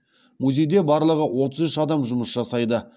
музейде барлығы отыз үш адам жұмыс жасайды